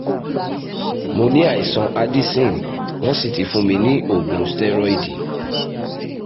mo ní àìsàn addison wọ́n sì ti fún mi ní oògùn stẹ́rọ́ìdì